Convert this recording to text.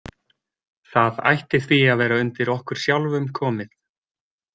Það ætti því að vera undir okkur sjálfum komið.